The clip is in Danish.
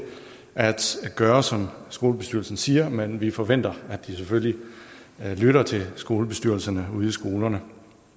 at gøre som skolebestyrelsen siger men vi forventer at de selvfølgelig lytter til skolebestyrelserne ude på skolerne